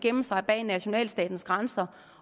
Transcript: gemme sig bag nationalstatens grænser